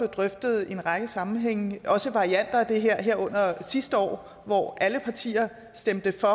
drøftet i en række sammenhænge altså varianter af det herunder sidste år hvor alle partier stemte for